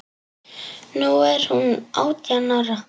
Nú er hún átján ára.